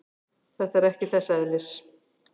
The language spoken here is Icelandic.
Þetta er ekki þess eðlis.